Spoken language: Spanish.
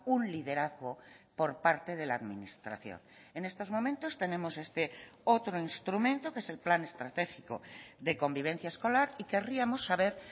un liderazgo por parte de la administración en estos momentos tenemos este otro instrumento que es el plan estratégico de convivencia escolar y querríamos saber